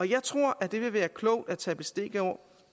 jeg tror at det vil være klogt at tage bestik